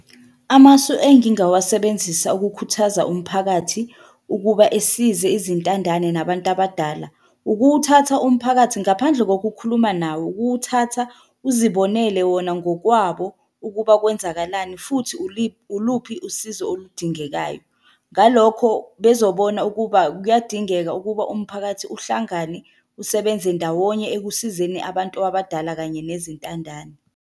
Amasu engingawasebenzisa ukukhuthaza umphakathi ukuba esize izintandane nabantu abadala, ukuwuthatha umphakathi ngaphandle kokukhuluma nawo, ukuwuthatha uzibonele wona ngokwabo ukuba kwenzakalani, futhi uluphi usizo oludingekayo. Ngalokho bezobona ukuba kuyadingeka ukuba umphakathi uhlangane, usebenze ndawonye ekusizeni abantu abadala kanye nezintandane.